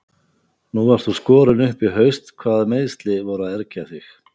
Nú varst þú skorinn upp í haust hvaða meiðsli voru að ergja þig?